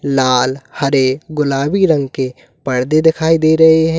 लाल हरे गुलाबी रंग के पर्दे दिखाई दे रहे हैं।